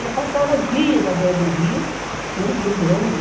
Eu passava dias na beira do rio, tinha um rio grande,